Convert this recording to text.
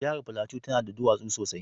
Jahar Plateau na da duwatsu sosai